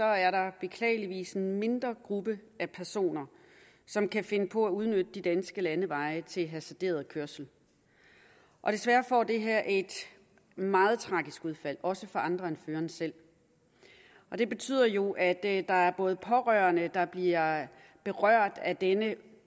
er der beklageligvis en mindre gruppe af personer som kan finde på at udnytte de danske landeveje til hasarderet kørsel desværre får det her et meget tragisk udfald også for andre end føreren selv det betyder jo at der er pårørende der bliver berørt af denne